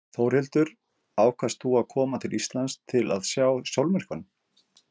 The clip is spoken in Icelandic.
Þórhildur: Ákvaðst þú að koma til Íslands til að sjá sólmyrkvann?